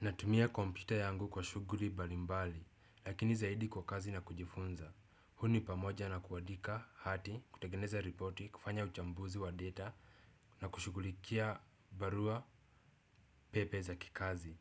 Natumia kompyuta yangu kwa shughuli mbali mbali, lakini zaidi kwa kazi na kujifunza. Huu pamoja na kuadika hati, kutengeneza ripoti, kufanya uchambuzi wa data na kushughulikia barua pepe za kikazi.